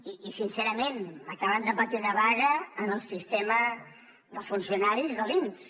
i sincerament acaben de patir una vaga en el sistema dels funcionaris de l’inss